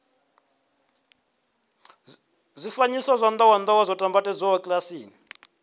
zwifanyiso zwa ndowendowe zwo nambatsedzwa kilasini